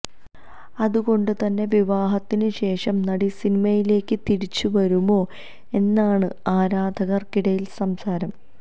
അതുക്കൊണ്ട് തന്നെ വിവഹാത്തിന് ശേഷം നടി സിനിമയിലേക്ക് തിരിച്ച് വരുമോ എന്നാണ് ആരാധകര്ക്കിടയിലെ സംസാരം